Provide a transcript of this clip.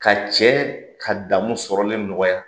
Ka cɛ ka daamu sɔrɔlen nɔgɔya